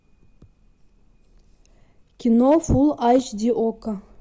кино фул эйч ди окко